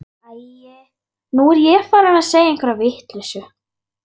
Æi, nú er ég farin að segja einhverja vitleysu.